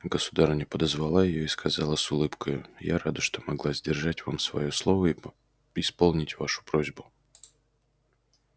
государыня подозвала её и сказала с улыбкою я рада что могла сдержать вам своё слово и исполнить вашу просьбу